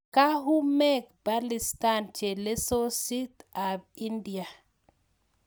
Kauhumek palistan chelesosit ab india